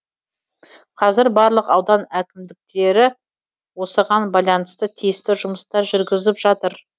қазір барлық аудан әкімдері осыған байланысты тиісті жұмыстар жүргізіп жатыр